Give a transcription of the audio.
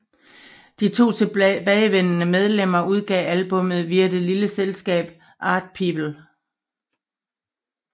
De to tilbageværende medlemmer udgav albummet via det lille selskab ArtPeople